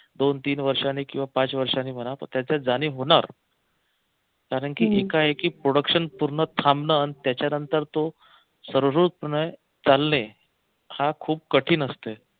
दोन तीन वर्षांनी किंवा पाच वर्षांनी म्हणा पण त्याच्यात जाणीव होणार कारंकी एकाएक production पूर्ण थांबलं त्याच्या नंतर तो सर्वोरतपणे चालले हा खूप कठीण असते.